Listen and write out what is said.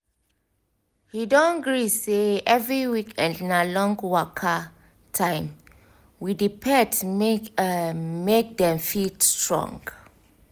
he don gree say every weekend na long waka time with the pet make[um] make dem fit strong